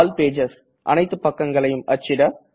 all pages அனைத்து பக்கங்களையும் அச்சிட